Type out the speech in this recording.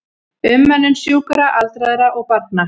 Umönnun sjúkra, aldraðra og barna.